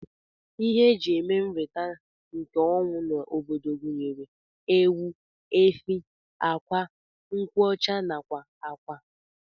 Ihe ndi eji eme nrita nke ọnwụ na obodom gunyere:Ewu, efi, akwa, nkwụ ọcha nakwa akwa.